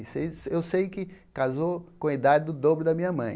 Seis eu sei que casou com a idade do dobro da minha mãe.